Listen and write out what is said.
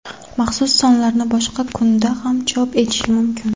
Maxsus sonlarni boshqa kunda ham chop etishi mumkin.